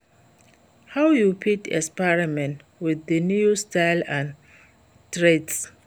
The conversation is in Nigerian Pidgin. how you fit experiment with di new styles and trends?